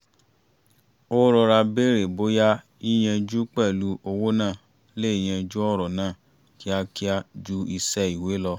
ó rọra bèrè bóyá yíyanjú pẹ̀lú owó náà le yanjú ọ̀rọ̀ náà kíákíá ju iṣẹ́ ìwé lọ